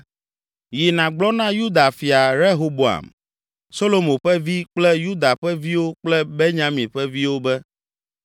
“Yi, nàgblɔ na Yuda fia, Rehoboam, Solomo ƒe vi kple Yuda ƒe viwo kple Benyamin ƒe viwo be,